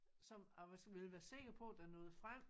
Som jeg ville være sikker på det nåede frem